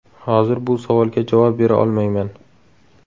Hozir bu savolga javob bera olmayman.